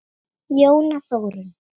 Jóna Þórunn.